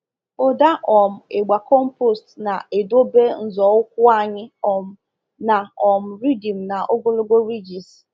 Ụda um ịgba compost na-edobe nzọụkwụ anyị um na um rhythm na ogologo ridges.